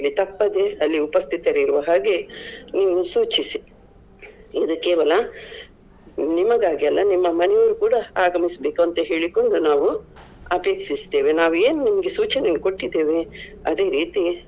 ತಪ್ಪದೇ ಅಲ್ಲಿ ಉಪಸ್ಥಿತರಿರುವ ಹಾಗೆ ನೀವು ಸೂಚಿಸಿ, ಇದು ಕೇವಲ ನಿಮಗಾಗಿ ಅಲ್ಲ ನಿಮ್ಮ ಮನೆ ಅವ್ರು ಕೂಡ ಆಗಮಿಸ್ಬೇಕು ಅಂತ ಹೇಳಿಕೊಂಡು ನಾವು ಅಪೇಕ್ಷಿಸುತ್ತೇವೆ. ನಾವು ನಿಮಗೆ ಏನು ಸೂಚನೆಯನ್ನು ಕೊಟ್ಟಿದ್ದೇವೆ ಅದೇ ರೀತಿ.